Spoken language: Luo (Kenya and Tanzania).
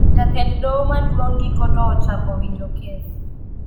Jatend doho maduong giko to ochako winjo kes